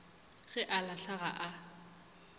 ge a hlala ga a